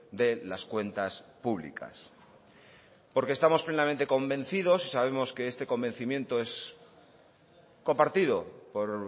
de las cuentas públicas porque estamos plenamente convencidos y sabemos que este convencimiento es compartido por